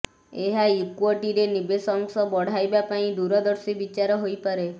ଏହା ଇକ୍ୱଟିରେ ନିବେଶ ଅଂଶ ବଢାଇବା ପାଇଁ ଦୁରଦର୍ଶୀ ବିଚାର ହୋଇପାରେ